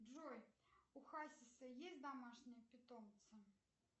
джой у хасиса есть домашние питомцы